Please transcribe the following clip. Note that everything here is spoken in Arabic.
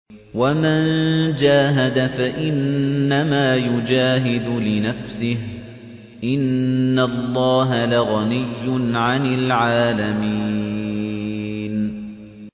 وَمَن جَاهَدَ فَإِنَّمَا يُجَاهِدُ لِنَفْسِهِ ۚ إِنَّ اللَّهَ لَغَنِيٌّ عَنِ الْعَالَمِينَ